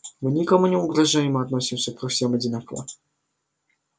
мы никому не угрожаем и относимся ко всем одинаково